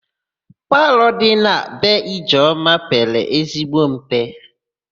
Palọ dị na be Ijeọma pere ezigbo mpe.